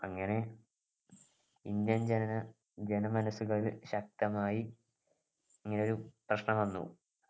അങ്ങനെ ഇന്ത്യൻ ജനന ജനമനസ്സുകളിൽ ശക്തമായി ഇങ്ങനെ ഒരു പ്രശ്നം വന്നു